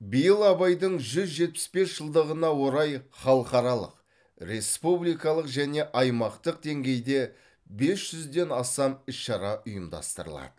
биыл абайдың жүз жетпіс бес жылдығына орай халықаралық республикалық және аймақтық деңгейде бес жүзден астам іс шара ұйымдастырылады